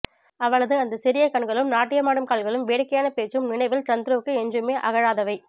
அவளது அந்த சிறிய கண்களும் நாட்டியமாடும் கால்களும் வேடிக்கையான பேச்சும் நினைவில் சந்துருவுக்கு என்றுமே அகழாதவை